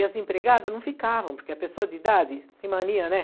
E as empregadas não ficavam, porque a pessoa de idade, tem mania, né?